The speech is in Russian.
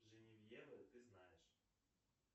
женевьева ты знаешь